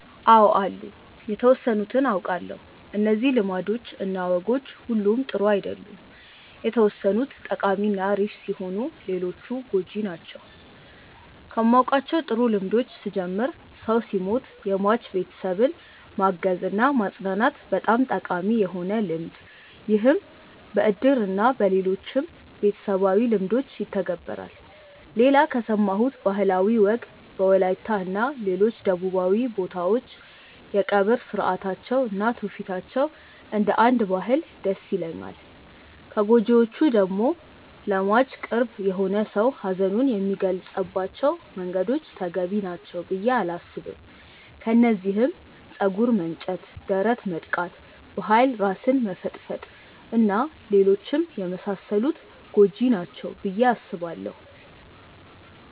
አው አሉ የተወሰኑትን አውቃለው። እነዚህ ልማዶች እና ወጎች ሁሉም ጥሩ አይደሉም የተወሰኑት ጠቃሚ እና አሪፍ ሲሆኑ ሌሎቹ ጎጂ ናቸው። ከማውቃቸው ጥሩ ልምዶች ስጀምር ሰው ሲሞት የሟች ቤተሰብን ማገዝ እና ማፅናናት በጣም ጠቃሚ የሆነ ልምድ ይህም በእድር እና በሌሎችም ቤተሰባዊ ልምዶች ይተገበራል። ሌላ ከሰማሁት ባህላዊ ወግ በወላይታ እና ሌሎች ደቡባዊ ቦታዎች የቀብር ስርአታቸው እና ትውፊታቸው እንደ አንድ ባህል ደስ ይለኛል። ከጎጂዎቹ ደግሞ ለሟች ቅርብ የሆነ ሰው ሀዘኑን የሚገልፀባቸው መንገዶች ተገቢ ናቸው ብዬ አላስብም። ከነዚህም ፀጉር መንጨት፣ ደረት መድቃት፣ በኃይል ራስን መፈጥፈጥ እና ሌሎችም የመሳሰሉት ጎጂ ናቸው ብዬ አስባለው።